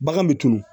Bagan bɛ tunun